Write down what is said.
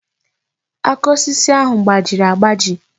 Aka osisi ahụ gbajiri agbaji.